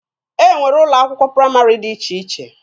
E nwere ụlọ akwụkwọ praịmarị dị iche iche.